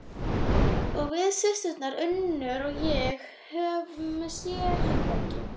Og við systurnar Unnur og ég höfum sérherbergi.